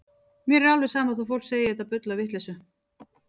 Mér er alveg sama þó að fólk segi þetta bull og vitleysu.